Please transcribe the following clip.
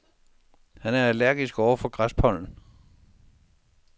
Han er allergisk over for græspollen.